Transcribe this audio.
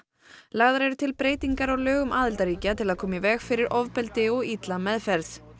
lagðar eru til breytingar á lögum aðildarríkja til að koma í veg fyrir ofbeldi og illa meðferð